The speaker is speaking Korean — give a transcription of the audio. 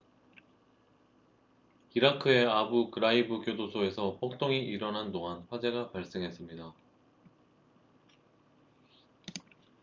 이라크의 아부 그라이브 교도소에서 폭동이 일어난 동안 화재가 발생했습니다